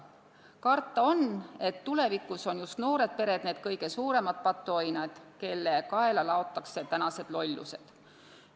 Karta on, et tulevikus on just noored pered need kõige suuremad patuoinad, kelle kaela laotakse tänased lollused.